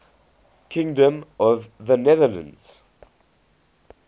kingdom of the netherlands